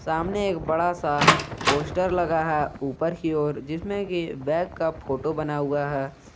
सामने एक बड़ा सा पोस्टर लगा है ऊपर की ओर जिसमें कि बैग का फोटो बना हुआ है।